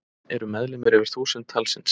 Eru meðlimir yfir þúsund talsins.